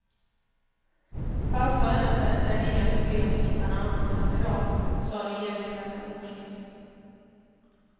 Passar det inte är det inga problem att hitta en annan kandidat, sade regeringschefen morskt.